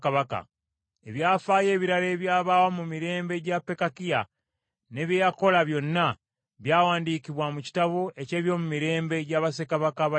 Ebyafaayo ebirala ebyabaawo mu mirembe gya Pekakiya, ne bye yakola byonna, byawandiikibwa mu kitabo eky’ebyomumirembe gya bassekabaka ba Isirayiri.